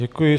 Děkuji.